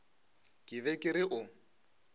ke be ke re o